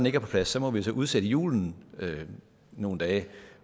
ikke er på plads må vi udsætte julen nogle dage